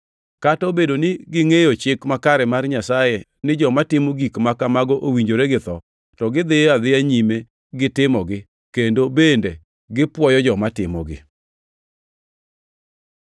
Kata obedo ni gingʼeyo chik makare mar Nyasaye ni joma timo gik ma kamago owinjore gi tho, to gidhiyo adhiya nyime gi timogi, kendo bende gipwoyo joma timogi.